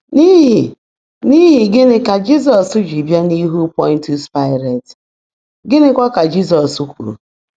N’ihi N’ihi gịnị ka Jizọs ji bịa n’ihu Pọntịọs Paịlet, gịnịkwa ka Jizọs kwuru?